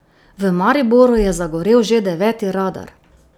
V Mariboru je zagorel že deveti radar.